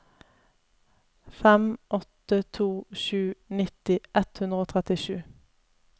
fem åtte to sju nitti ett hundre og trettisju